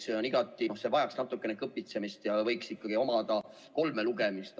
See vajaks natuke kõpitsemist ja võiks ikkagi läbida kolm lugemist.